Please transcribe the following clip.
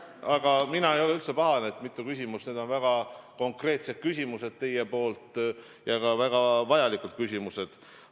Aga mina ei ole üldse pahane, et on mitu küsimust, need on väga konkreetsed küsimused teil ja ka väga vajalikud küsimused.